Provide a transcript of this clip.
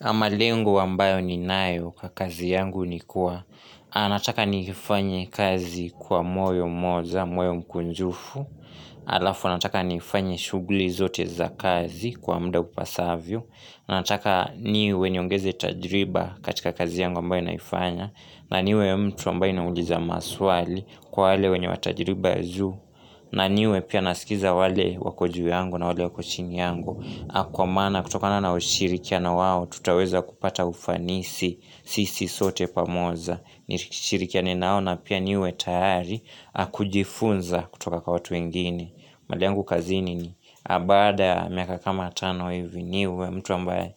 Na malengo ambayo ninayo kwa kazi yangu ni kuwa, anataka nifanye kazi kwa moyo mmoja, moyo mkunjufu, alafu anataka nifanye shughuli zote za kazi kwa muda upasavyo, anataka niwe niongeze tajiriba katika kazi yangu ambayo naifanya, na niwe mtu ambaye ninauliza maswali kwa wale wenye wa tajiriba ya zuu, na niwe pia nasikiza wale wako juu yangu na wale wako chini yangu. Ah kwa maana kutokana na ushirikiano wao tutaweza kupata ufanisi sisi sote pamoja. Nishirikiane nao na pia niwe tayari kujifunza kutoka kwa watu wengine. Mahali yangu kazini ni baada miaka kama tano hivi niwe mtu ambaye